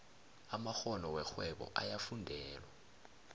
amakgono werhwebo ayafundelwa